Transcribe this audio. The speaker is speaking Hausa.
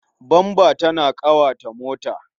Bamba tana ƙawata mota.